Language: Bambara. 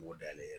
N b'o dayɛlɛ